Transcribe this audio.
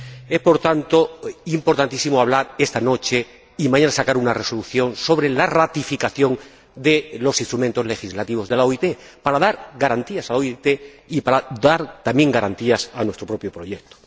Es, por tanto, importantísimo hablar esta noche —y mañana aprobar una resolución— sobre la ratificación de los instrumentos legislativos de la OIT, para dar garantías a la OIT y para dar también garantías a nuestro propio proyecto.